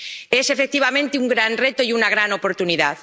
Es, efectivamente, un gran reto y una gran oportunidad.